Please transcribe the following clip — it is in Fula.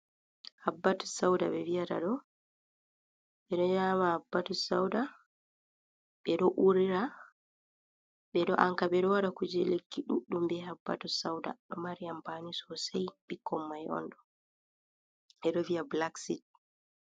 Habbatus sauda ɓe vi'ata ɗo, ɓeɗo nyama habbatus sauda, ɓeɗo urira, ɓeɗo anka ɓeɗo waɗa kuje lekki ɗuɗɗum be habbatus sauda. Ɗo mari ampaani sosai, bikkon mai on ɗo. Ɓe ɗo vi'a blacksit